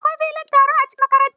Akwai filin taro a cikin makarantar.